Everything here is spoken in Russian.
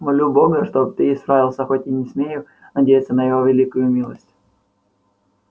молю бога чтоб ты исправился хоть и не смею надеяться на его великую милость